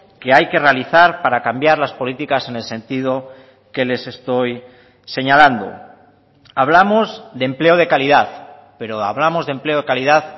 que hay que realizar para cambiar las políticas en el sentido que les estoy señalando hablamos de empleo de calidad pero hablamos de empleo de calidad